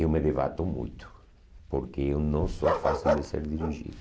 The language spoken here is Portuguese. eu me debato muito, porque eu não sou fácil de ser dirigido.